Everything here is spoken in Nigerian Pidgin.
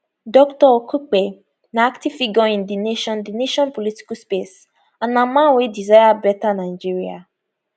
dr okupe na active figure in di nation di nation political space and man wey desire betta nigeria